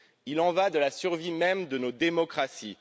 Il y va de la survie même de nos démocraties.